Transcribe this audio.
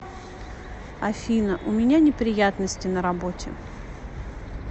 афина у меня неприятности на работе